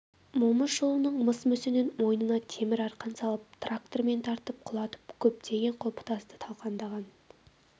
момышұлының мыс мүсінін мойнына темір арқан салып трактормен тартып құлатып көптеген құлпытасты талқандаған